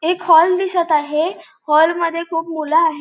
एक हॉल दिसत आहे. हॉल मध्ये खूप मुलं आहे.